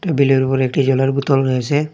টেবিলের উপর একটি জলের বোতল রয়েছে।